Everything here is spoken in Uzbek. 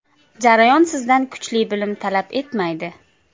Jarayon sizdan kuchli bilim talab etmaydi.